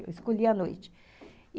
Eu escolhia à noite.